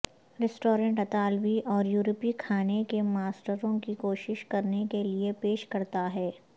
restaurant اطالوی اور یورپی کھانے کے ماسٹروں کی کوشش کرنے کے لئے پیش کرتا ہے